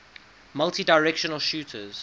multidirectional shooters